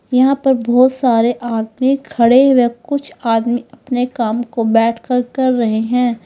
यहां पर बहुत सारे आदमी खड़े व कुछ आदमी अपने काम को बैठकर कर रहे हैं।